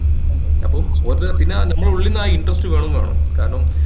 അപ്പം ഒരു പിന്നെ നമ്മളെ ഉള്ളിന്ന് ആ interest വേണംന്നാണോ കാരണം